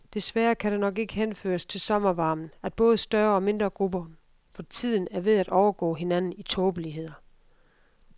Desværre kan det nok ikke henføres til sommervarmen, at både større og mindre grupper for tiden er ved at overgå hinanden i tåbeligheder.